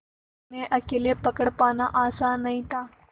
उन्हें अकेले पकड़ पाना आसान नहीं था